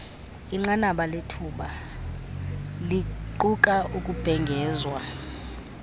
inqanabalethuba liquka ukubhengezwa